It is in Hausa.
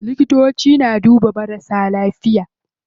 Likitoci na duba marasa lafiya.